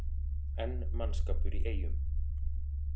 Enn mannskapur í Eyjum